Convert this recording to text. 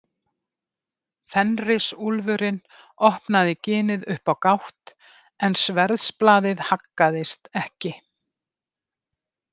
Fenrisúlfurinn opnaði ginið upp á gátt en sverðsblaðið haggaðist ekki.